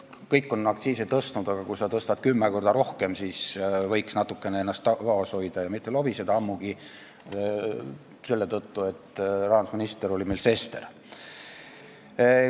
Kõik on aktsiisi tõstnud, aga kui sa tõstad teistest kümme korda rohkem, siis võiks ennast natukene vaos hoida ja mitte lobiseda, ammugi selle tõttu, et rahandusministriks oli meil Sester.